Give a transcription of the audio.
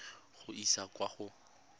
go e isa kwa go